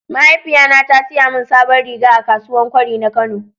mahaifiya na ta siya min sabon riga a kasuwan kwari na kano.